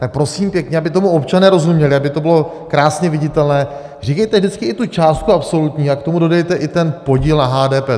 Tak prosím pěkně, aby tomu občané rozuměli, aby to bylo krásně viditelné, říkejte vždycky i tu částku absolutní a k tomu dodejte i ten podíl na HDP.